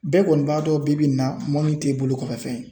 Bɛɛ kɔni b'a dɔn bi bi in na mɔni tɛ bolo kɔfɛ fɛn ye .